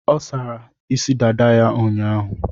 Ọ sara isi dada ya ụnyaahụ.